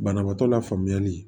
Banabaatɔ la faamuyali